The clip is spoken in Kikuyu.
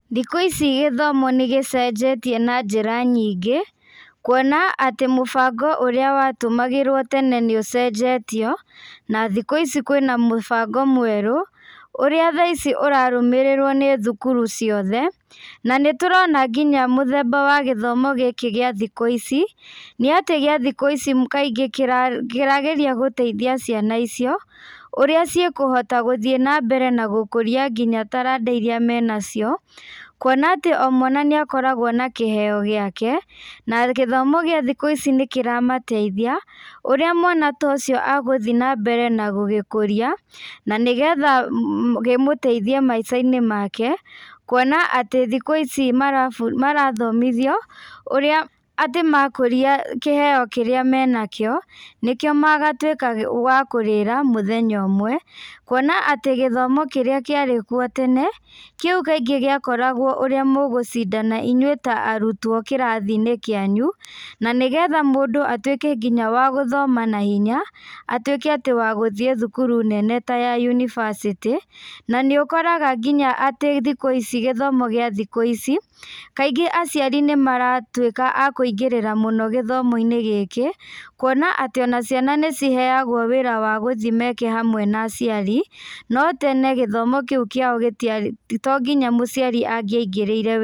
Thikũ ici gĩthomo nĩ gĩcenjetie na njĩra nyingĩ, kuona atĩ mũbango ũrĩa watũmagĩrwo tene nĩ ũcenjetio, na thikũ ici kwĩna mũbango mweru , ũrĩa thaa ici ũrarũmĩrĩrwo nĩ thũkũrũ ciothe, na nĩ tũrona nginya mũthemba ũyũ wa gĩthomo kĩa thikũ ici, nĩ atĩ kĩa thikũ ici kaingĩ kĩra geria gũteithia ciana icio, ũrĩa cigũthiĩ na mbere na gũkũria nginya tarada iria me nacio, kuona atĩ o mwana nĩ arĩ na kĩheo gĩake, na gĩthomo kĩa thikũ ici nĩ kĩra mateithia ũrĩa mwana ũcio agũthiĩ na mbere na gũgĩkũria, na nĩgetha gĩmũteithia thĩiniĩ wa maica make, kuona atĩ thikũ ici mara bũ , marathomithio kũrĩa atĩ makũria kĩheo kĩrĩa menakio, nĩkĩo gĩgatuĩka wa kũrĩra mũthenya ũmwe, kuona atĩ gĩthomo kĩrĩa kĩarĩ kuo tene ,kĩu kaingĩ gĩa korwagwo ũrĩa inyui mũgũcindana ta arutwo kĩrathi-inĩ kĩanyu, na nĩgetha mũndũ atuĩke wa gũthoma na hinya ,atuĩke wa gũthiĩ thũkũrũ nene ta ya university, na nĩ ũkoraga nginya atĩ thikũ ici gĩthomo kĩa thikũ ici, kaingĩ aciari nĩ maratuĩka akũingĩrĩra mũno gĩthomo-inĩ gĩkĩ, kuona atĩ ciana nĩ ciheagwo wĩra wa gũthiĩ meke hamwe na aciari, no tene gĩthomo kĩu kĩao gĩtiarĩ na to nginya mũciari agĩa igĩrĩire.